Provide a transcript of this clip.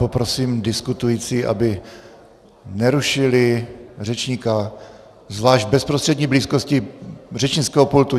Poprosím diskutující, aby nerušili řečníka, zvlášť v bezprostřední blízkosti řečnického pultu.